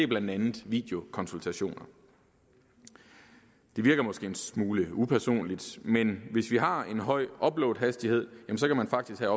blandt andet videokonsultationer det virker måske en smule upersonligt men hvis vi har en høj uploadhastighed kan man faktisk have